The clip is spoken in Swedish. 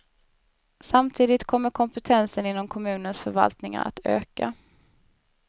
Samtidigt kommer kompetensen inom kommunens förvaltningar att öka.